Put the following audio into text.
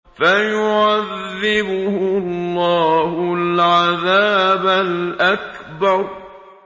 فَيُعَذِّبُهُ اللَّهُ الْعَذَابَ الْأَكْبَرَ